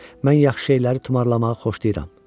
Mən yaxşı şeyləri tumarlamağı xoşlayıram.